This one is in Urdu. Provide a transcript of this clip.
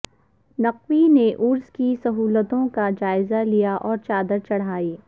نقوی نے عرس کی سہولتوں کا جائزہ لیا اور چادر چڑھائی